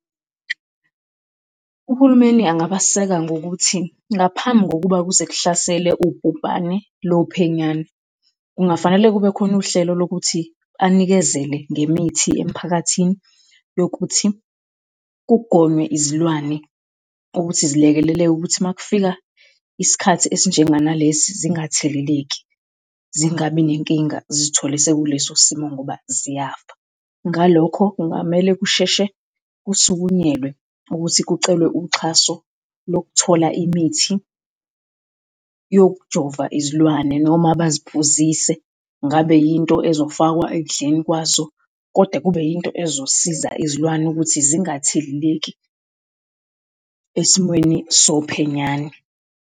Uhulumeni angabaseka ngokuthi ngaphambi kokuba kuze kuhlasele ubhubhane lophenyane, kungafanele kube khona uhlelo lokuthi anikezele ngemithi emiphakathini yokuthi kugonywe izilwane ukuthi zilekeleleke ukuthi makufika isikhathi esinjenganalesi zingatheleleki, zingabi nenkinga zithole sekuleso simo ngoba ziyafa. Ngalokho, kungamele kusheshe kusukunyelwe ukuthi kucelwe uxhaso lokuthola imithi yokujova izilwane noma baziphuzise, ngabe yinto ezofakwa ekudleni kwazo kodwa kube yinto ezosiza izilwane ukuthi zingatheleleki esimweni sophenyane.